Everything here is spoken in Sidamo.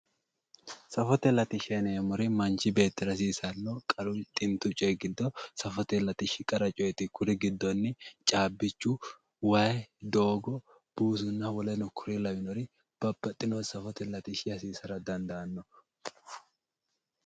Safote latishsha yineemmori manchi beettira hasiisano xintu coyi giddo safote latishshi qarra coyite kuri giddonni cabbichu waayi doogo woleno kuri lawinori babbaxino safote latishshi hasiisara dandaano.